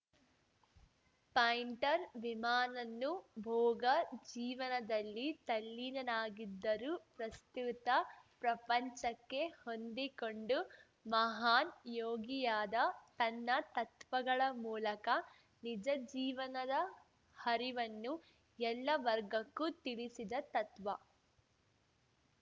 pointer ವಿಮಾನನ್ನು ಭೋಗ ಜೀವನದಲ್ಲಿ ತಲ್ಲೀನನಾಗಿದ್ದರೂ ಪ್ರಸುತ್ತ ಪ್ರಪಂಚಕ್ಕೆ ಹೊಂದಿಕೊಂಡು ಮಹಾನ್‌ ಯೋಗಿಯಾದ ತನ್ನ ತತ್ವಗಳ ಮೂಲಕ ನಿಜ ಜೀವನದ ಹರಿವನ್ನು ಎಲ್ಲ ವರ್ಗಕ್ಕೂ ತಿಳಿಸಿದ ತತ್ವ